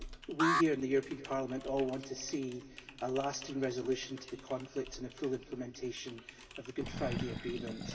We here in the European Parliament all want to see a lasting resolution to the conflict and a full implementation of the Good Friday Agreement.